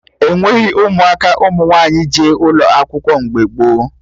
Ekweghị ụmụaka ụmụ nwaanyị jee ụlọ akwụkwọ mgbe gboo